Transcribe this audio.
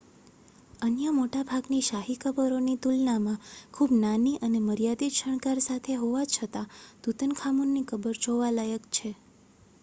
અન્ય મોટાભાગની શાહી કબરોની તુલનામાં ખૂબ નાની અને મર્યાદિત શણગાર સાથે હોવા છતાં તુતનખામુનની કબર જોવા લાયક છે